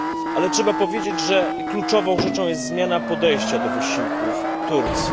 Ale trzeba powiedzieć, że kluczową rzeczą jest zmiana podejścia do wysiłków Turcji.